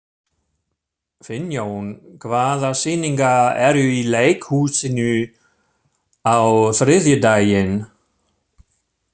Finnjón, hvaða sýningar eru í leikhúsinu á þriðjudaginn?